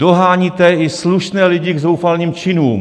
Doháníte i slušné lidi k zoufalým činům.